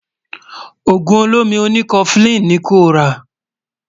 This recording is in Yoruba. ògún ọ̀lómí òní koflin ní kò rà